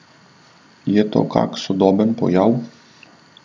Je to kak sodoben pojav?